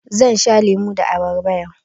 Zan sha lemu da abarba yau.